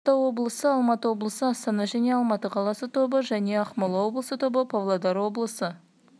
тобы қызылорда облысы алматы облысы астана және алматы қаласы тобы және ақмола облысы тобы павлодар облысы